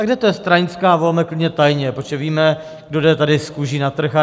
A kde to je stranická, volme klidně tajně, protože víme, kdo jde tady s kůží na trh.